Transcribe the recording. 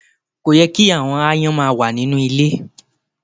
Kò yẹ ki àwọn aáyán ma wà nínú ilẹ